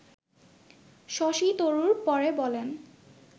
শশী তরুর পরে বলেন